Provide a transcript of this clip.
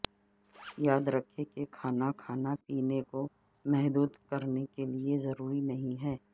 یاد رکھیں کہ کھانا کھا نہ پینے کو محدود کرنے کے لئے ضروری نہیں ہے